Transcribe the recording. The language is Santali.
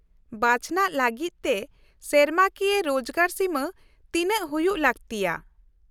-ᱵᱟᱪᱷᱱᱟᱜ ᱞᱟᱹᱜᱤᱫ ᱛᱮ ᱥᱮᱨᱢᱟᱠᱤᱭᱟᱹ ᱨᱳᱡᱜᱟᱨ ᱥᱤᱢᱟᱹ ᱛᱤᱱᱟᱹᱜ ᱦᱩᱭᱩᱜ ᱞᱟᱹᱠᱛᱤᱜᱼᱟ ?